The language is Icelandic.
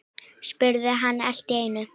spurði hann allt í einu.